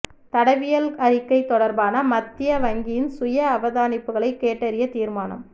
தடவியல் அறிக்கை தொடர்பான மத்திய வங்கியின் சுய அவதானிப்புகளை கேட்டறிய தீர்மானம்